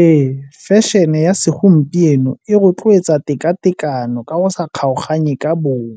Ee, fashion-e ya segompieno e rotloetsa teka-tekano ka go sa kgaoganye ka bong